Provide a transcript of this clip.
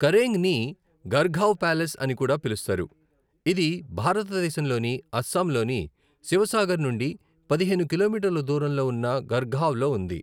కరేంగ్ని గర్హ్గావ్ ప్యాలెస్ అని కూడా పిలుస్తారు, ఇది భారతదేశంలోని అస్సాంలోని శివసాగర్ నుండి పదిహేను కిలోమీటర్ల దూరంలో ఉన్న గర్హ్గావ్లో ఉంది.